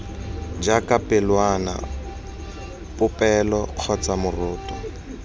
jaaka pelwana popelo kgotsa moroto